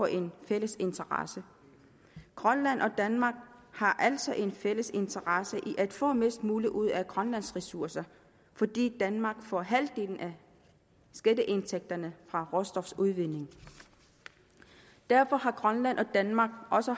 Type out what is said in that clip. en fælles interesse grønland og danmark har altså en fælles interesse i at få mest muligt ud af grønlands ressourcer fordi danmark får halvdelen af skatteindtægterne fra råstofudvinding derfor har grønland og danmark også